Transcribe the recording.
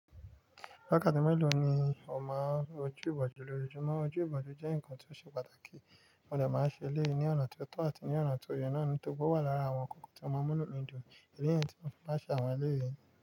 Wákàtí mélòó ni o máa ń wo oju ìbòjú lójoojúmọ́? Ojú ìbòjú jẹ́ ǹkan tí ó ṣe pàtàkì, mo dà máa ń ṣe léè ní ọ̀nà tí ó tọ́ àti ní ọ̀nà tí ó yẹ náà nítorí ó wà lára àwọn ǹkan tí ó máa ń múlò nínú did niyẹn tí mo fi maa n ṣe àwọn eleyẹn.